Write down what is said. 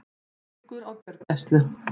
Liggur á gjörgæslu